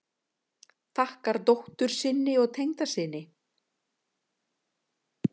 Þakkar dóttur sinni og tengdasyni